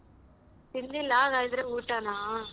ತಿನ್ಲಿಲ್ಲ ಹಾಗಾದ್ರೆ ಊಟಾನ?